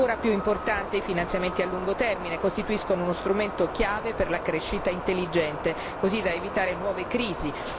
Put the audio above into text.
Ancora più importante, i finanziamenti a lungo termine costituiscono uno strumento chiave per la crescita intelligente, così da evitare nuove crisi.